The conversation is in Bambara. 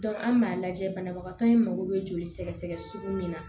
an b'a lajɛ banabagatɔ in mago bɛ joli sɛgɛsɛgɛ sugu min na